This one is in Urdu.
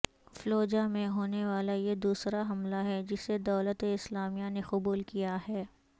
فلوجا میں ہونے والا یہ دوسرا حملہ ہے جسے دولت اسلامیہ نے قبول کیا ہے